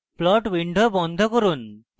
plot window বন্ধ করুন